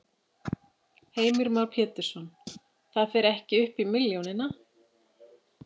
Heimir Már Pétursson: Það fer ekki upp í milljónina?